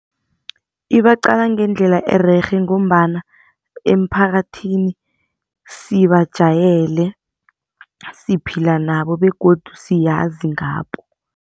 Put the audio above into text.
Ibaqala ngendlela ererhe ngombana emphakathini sibajayele, siphila nabo begodu siyazi ngabo.